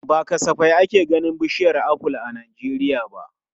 Ba kasafai ake ganin bishiyar aful a Najeriya ba.